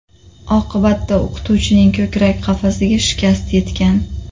Oqibatda o‘qituvchining ko‘krak qafasiga shikast yetgan.